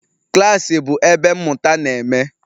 Klas bụ ebe mmụta na-eme.